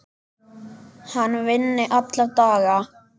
Hann vinni alla daga.